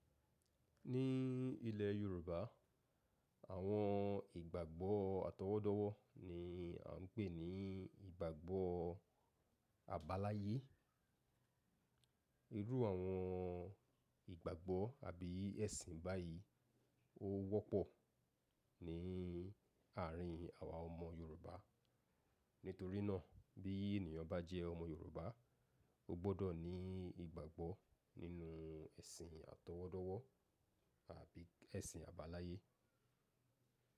Ní ilẹ̀ Yorùbá, àwọn ìgbàgbọ́ àtọwọ́dọ́wọ́ ni a ń pè ní ìgbàgbọ́ àbáláyé. Irú àwọn ìgbàgbọ́ àbí ẹ̀sìn báyìí ó wọ́pọ̀ ní àárín àwa ọmọ Yorùbá. Nítorí náà bí ènìyàn bá jẹ́ ọmọ Yorùbá, ó gbọ́dọ̀ ní ìgbàgbọ́ nínú ẹ̀sìn àtọwọ́dọ́wọ́ àbí ẹ̀sìn àbáláyé.